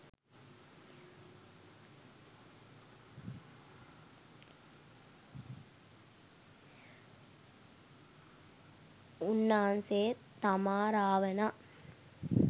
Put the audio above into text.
උන්නාන්සේ තමා රාවණා